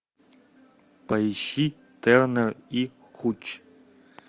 поищи тернер и хуч